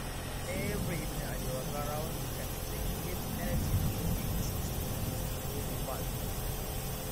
every evening i dey waka round the pen to check if anything no dey as e suppose dey or dey bad